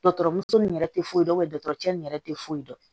Dɔgɔtɔrɔmuso nin yɛrɛ tɛ foyi dɔn dɔgɔtɔrɔ ni yɛrɛ tɛ foyi dɔn